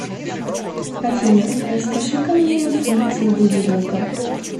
афина расскажи ка мне о функции будильника